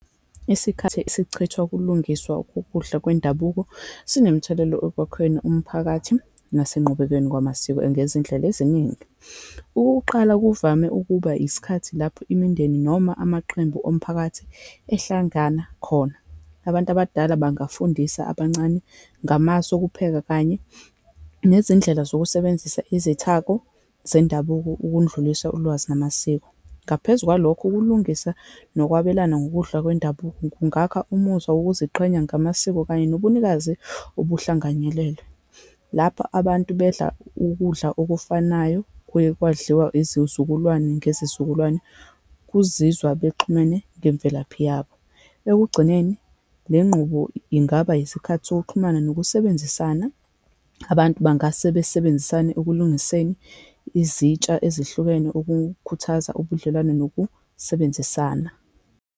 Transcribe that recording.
Isikhathi esichithwa kulungiswa ukudla kwendabuko, sinomthelela ekwakheni umphakathi nasenqubekweni kwamasiko ngezindlela eziningi. Ukuwuqala, kuvame ukuba isikhathi lapho imindeni, noma amaqembu omphakathi ehlangana khona. Abantu abadala bangafundisa abancane ngamasu okupheka, kanye nezindlela zokusebenzisa izithako zendabuko, ukundlulisa ulwazi namasiko. Ngaphezu kwalokho, ukulungisa nokwabelana ngokudla kwendabuko kungakha umuzwa wokuziqhenya ngamasiko kanye nobunikazi obuhlanganyelelwe. Lapho abantu bedla ukudla okufanayo kuye kwadliwa izizukulwane ngezizukulwane kuzizwa bexhumene ngemvelaphi yabo. Ekugcineni, le nqubo ingaba yisikhathi sokuxhumana nokusebenzisana. Abantu bangase basebenzisane ekulungiseni izitsha ezihlukene ukukhuthaza ubudlelwano nokusebenzisana.